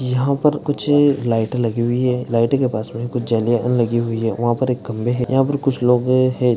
यहाँ पर कुछ लाइटे लगी हुई है लाइटे के पास मे कुछ लगी हुई है वहा पर एक खंबे है यहाँ पर कुछ लोग है।